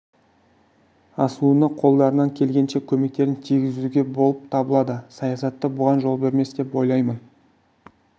асуына қолдарынан келгенше көмектерін тигізу болып табылады саясаты бұған жол бермес деп ойлаймын